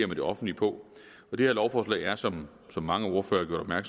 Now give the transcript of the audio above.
med det offentlige på det her lovforslag er som mange ordførere har